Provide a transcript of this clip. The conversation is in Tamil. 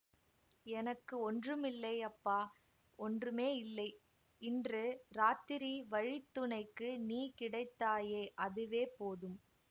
எனக்கு ஒன்றுமில்லை அப்பா ஒன்றுமே இல்லை இன்று ராத்திரி வழி துணைக்கு நீ கிடைத்தாயே அதுவே போதும்